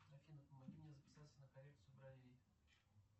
афина помоги мне записаться на коррекцию бровей